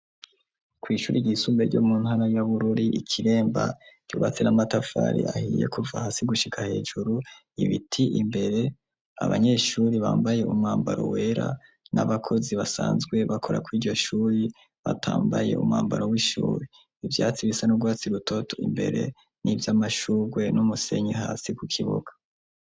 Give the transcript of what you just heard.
Kw'ishuri ryisumbe ryo mu ntana ya Bururi i Kiremba ryubatse n'amatafari ahiye kuva hasi gushika hejuru, ibiti imbere, abanyeshuri bambaye umwambaro wera n'abakozi basanzwe bakora kw'iryo shuri batambaye umwambaro w'ishuri, ivyatsi bisa n'urwatsi rutoto imbere, n'ivyamashurwe, n'umusenyi hasi ku kibuga.